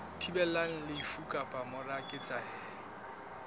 thibelang lefu ka mora ketsahalo